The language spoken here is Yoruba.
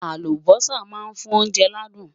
Àlùbósà má ń fún oúnjẹ ládùn